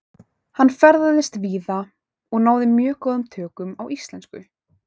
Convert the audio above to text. Hann ferðaðist víða og náði mjög góðum tökum á íslensku.